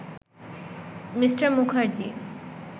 Me. Mukherjee